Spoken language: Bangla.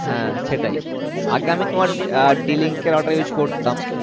হ্যাঁ সেটাই আগে আমি তোমার d link এর router use করতাম